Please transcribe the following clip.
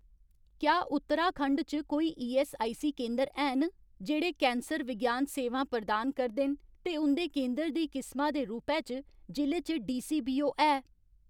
क्या उत्तराखंड च कोई ईऐस्सआईसी केंदर हैन जेह्ड़े कैंसर विज्ञान सेवां प्रदान करदे न ते उं'दे केंदर दी किसमा दे रूपै च जि'ले च डीसीबीओ है ?